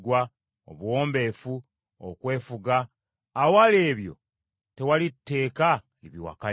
obuwombeefu, okwefuga; awali ebyo tewali tteeka libiwakanya.